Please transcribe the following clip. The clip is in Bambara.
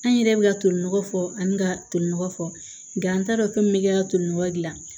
An yɛrɛ bɛ ka tolinɔgɔ fɔ ani ka tolinɔgɔ fɔ nka an t'a dɔn ko min bɛ kɛ ka tolinɔgɔ dilan